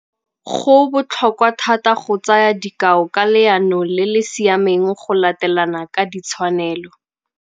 Go botlhokwa thata go tsaya dikao ka leano le le siameng go latelana ka tshwanelo.